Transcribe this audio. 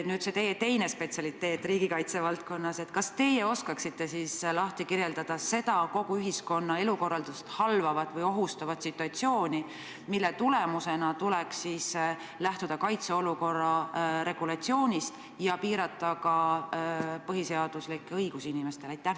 Nüüd, see teine spetsialiteet riigikaitse valdkonnas: kas teie oskate kirjeldada seda kogu ühiskonna elukorraldust halvavat või ohustavat situatsiooni, mille tekkel tuleks lähtuda kaitseolukorra regulatsioonist ja piirata ka inimeste põhiseaduslikke õigusi?